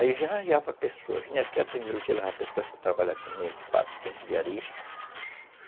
Aí já arranjava pessoas, vinha aqui atender o dia das pessoas para trabalhar comigo, quatro, cinco diaristas.